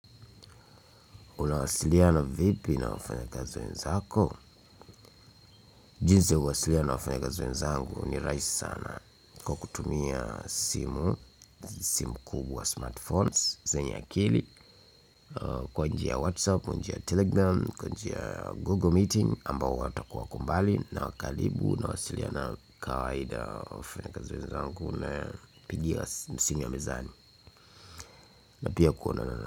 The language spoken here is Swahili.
Unawasiliana vipi na wafanya kazi wenzako jinsi ya kuwasiliana na wafanya kazi wenzangu ni rahisi sana kwa kutumia simu simu kubwa smartphones zenye akili kwa njia ya whatsapp, kwa njia ya telegram, kwa njia google meeting ambao watakuwa wakombali, na wa karibu nawasiliana kawaida wafanya kazi wenzangu na pigia simu ya mezani. Na pia kuonana.